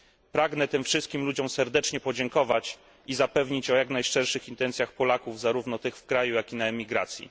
Pragnę tym wszystkim ludziom serdecznie podziękować i zapewnić o jak najszczerszych intencjach Polaków zarówno tych w kraju, jak i na emigracji.